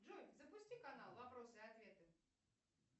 джой запусти канал вопросы и ответы